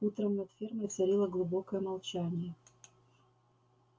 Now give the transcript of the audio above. утром над фермой царило глубокое молчание